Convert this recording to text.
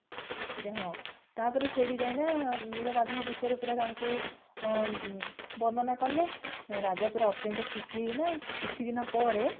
ଆଜ୍ଞା ହଁ ତାପରେ ସେଠି ଯାଇକିନା ନୀଳମାଧବ ବିଷୟରେ ତାଙ୍କୁ ବର୍ଣନା କଲେ ରାଜା ପୁରା ଅତ୍ୟନ୍ତ ଖୁସି ହେଇ ଗଲେ କିଛି ଦିନ ପରେ